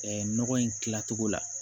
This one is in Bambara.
Ɛɛ nɔgɔ in tilacogo la